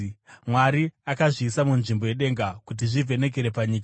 Mwari akazviisa munzvimbo yedenga kuti zvivhenekere panyika,